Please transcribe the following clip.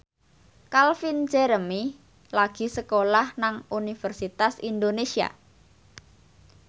Calvin Jeremy lagi sekolah nang Universitas Indonesia